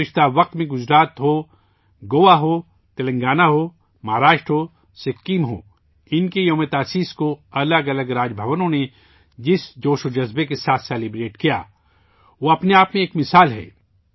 ماضی میں گجرات ہو، گوا ہو، تلنگانہ ہو، مہاراشٹر ہو یا سکم ہو، ان کےیوم تاسیس کو الگ الگ راج بھونوں نے جس جوش کے ساتھ منایا وہ اپنے آپ میں ایک مثال ہے